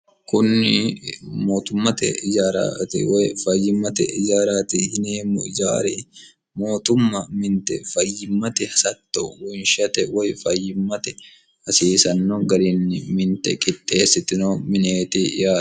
kunni mootummate ijaarati woy fayyimmate ijaaraati yineemmu ijaari mootumma minte fayyimmate hasatto wonshate woy fayyimmate hasiisanno gariinni minte qitteessitino mineeti yaa